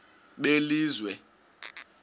belizwe